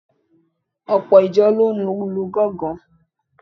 Ọ̀pọ̀ ìjọ ló ní gángan.